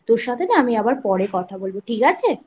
তোর সাথে না আমি আবার পরে কথা বলবো ঠিক আছে ?